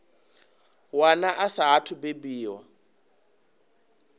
wana a saathu u bebiwaho